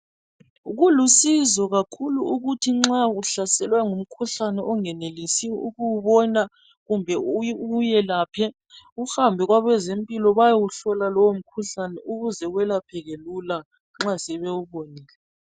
Kulusizo kakhulu ukuthi nxa uhlaselwe ngumkhuhlane ongenelisiyo ukuwubona kumbe uwelaphe uhambe kwabezempilo bayewuhlola lowo mkhuhlane ukuze welapheke Lila nxa sebewubonile